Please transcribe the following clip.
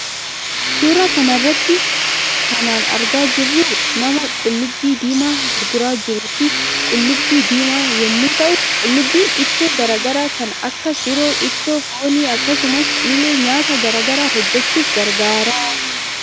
Suuraa kanarratti kanan argaa jiru nama qullubbi diima gurguraa jiruu fi qullubbii diimaa yommuu ta'u . Qullubbiin ittoo garaa garaa kan Akka shiroo ,ittoo foonii akkasumas ille nyaata garaa garaa hojjechuuf gargaara